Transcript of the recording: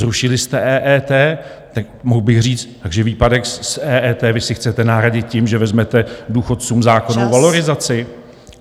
Zrušili jste EET, tak mohl bych říct, takže výpadek z EET vy si chcete nahradit tím, že vezmete důchodcům zákonnou valorizaci.